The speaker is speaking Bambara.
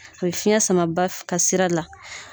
A be fiɲɛ sama ba f ka sira la.